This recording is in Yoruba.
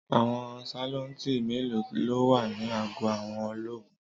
Àwọn sálọ́ńtì mélòó ló wà ní àgọ́ àwọn ológun?